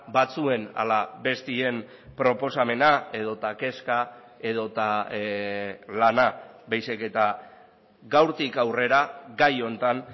batzuen ala besteen proposamena edota kezka edota lana baizik eta gaurtik aurrera gai honetan